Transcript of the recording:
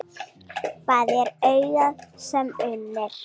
Þar er augað sem unir.